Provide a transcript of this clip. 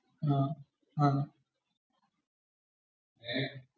അഹ് അഹ്.